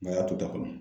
Nka y'a to a kɔnɔ